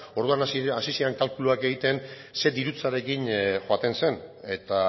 orduan hasi ziren kalkuluak egiten zein dirutzarekin joaten zen eta